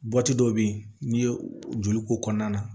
dɔw bɛ yen n'i ye joli k'o kɔnɔna na